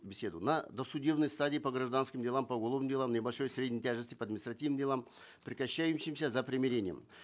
беседу на досудебной стадии по гражданским делам по уголовным делам небольшой и средней тяжести по административным делам прекращающимся за примирением